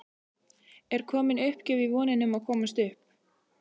Er komin uppgjöf í vonina um að komast upp?